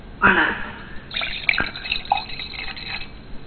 വളർന്നു